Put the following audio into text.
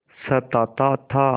सताता था